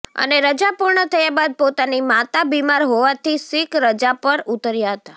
અને રજા પુર્ણ થયા બાદ પોતાની માતા બીમાર હોવાથી સીક રજા પર ઉતર્યા હતા